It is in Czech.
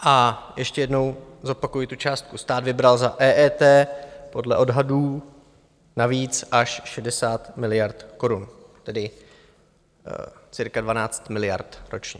A ještě jednou zopakuji tu částku: stát vybral za EET podle odhadů navíc až 60 miliard korun, tedy cirka 12 miliard ročně.